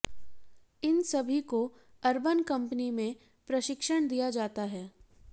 इन सभी को Urban Company में प्रशिक्षण दिया जाता है